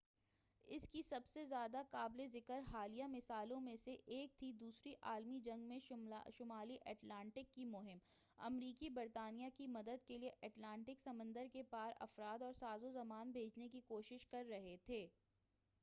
اس کی سب سے زیادہ قابلِ ذکر حالیہ مثالوں میں سے ایک تھی دوسری عالمی جنگ میں شمالی اٹلانٹک کی مہم امریکی برطانیہ کی مدد کے لئے اٹلانٹک سمندر کے پار افراد اور ساز و سامان بھیجنے کی کوشش کر رہے تھے